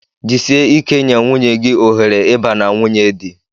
Jisie ike nye nwunye gị ohere ịba na nwunye di!